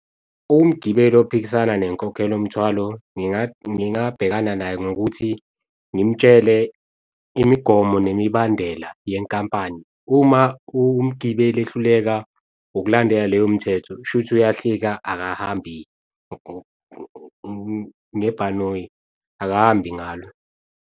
Umgibeli ophikisana nenkokhelo mthwalo, ngingabhekana naye ngokuthi ngimtshele imigomo nemibandela yenkampani. Uma umgibeli ehluleka ukulandela leyo mthetho, shuthi uyahlika akahambi ngebhanoyi, akahambi ngalo.